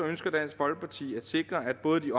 ønsker dansk folkeparti at sikre at både de